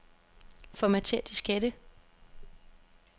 Formatér diskette.